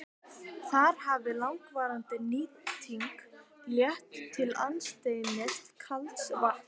Þar hefur langvarandi nýting leitt til aðstreymis kalds vatns.